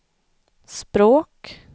språk